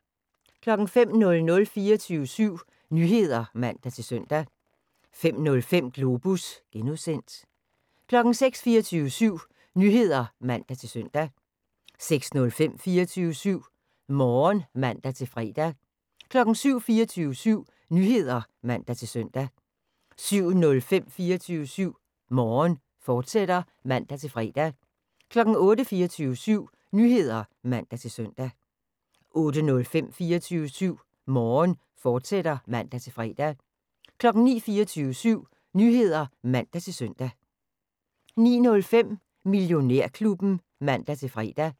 05:00: 24syv Nyheder (man-søn) 05:05: Globus (G) 06:00: 24syv Nyheder (man-søn) 06:05: 24syv Morgen (man-fre) 07:00: 24syv Nyheder (man-søn) 07:05: 24syv Morgen, fortsat (man-fre) 08:00: 24syv Nyheder (man-søn) 08:05: 24syv Morgen, fortsat (man-fre) 09:00: 24syv Nyheder (man-søn) 09:05: Millionærklubben (man-fre)